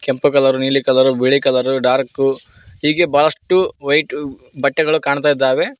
ಕೆಂಪು ಕಲರು ನೀಲಿ ಕಲರು ಬಿಳಿ ಕಲರು ಡರ್ಕು ಹೀಗೆ ಬಳಷ್ಟು ವೈಟ್ ಬಟ್ಟೆಗಳು ಕಾಣ್ತಾ ಇದ್ದಾವೆ.